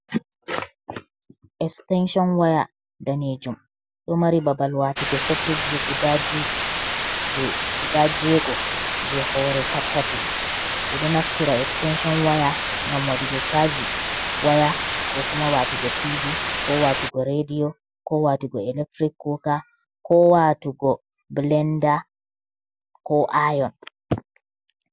Ekstenshon waya, daneejum. Ɗo mari babal waatugo soket ji je guda juyi, guda jeego je hoore tatatti. Ɗiɗo naftira ekstenshon waya, ngam waɗugo chaaji waya, ko kuma waatugo tivi, ko waatugo rediyo, ko waatugo elektirik kuka, ko waatugo bilenda, ko ayon.